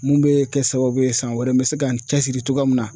Mun bɛ kɛ sababu ye san wɛrɛ n bɛ se ka n cɛsiri cogoya min na.